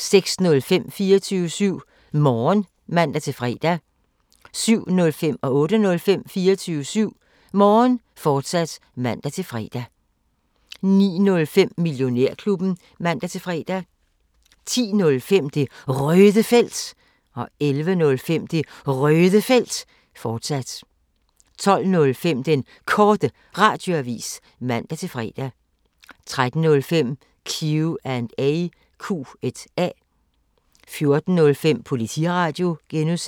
24syv Morgen (man-fre) 07:05: 24syv Morgen, fortsat (man-fre) 08:05: 24syv Morgen, fortsat (man-fre) 09:05: Millionærklubben (man-fre) 10:05: Det Røde Felt 11:05: Det Røde Felt, fortsat 12:05: Den Korte Radioavis (man-fre) 13:05: Q&A 14:05: Politiradio (G)